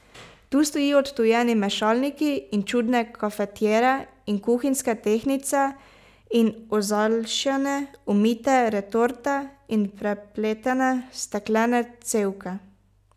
Tu stojijo odtujeni mešalniki in čudne kafetjere in kuhinjske tehtnice in ozaljšane, umite retorte in prepletene steklene cevke.